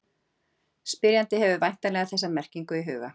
Spyrjandi hefur væntanlega þessa merkingu í huga.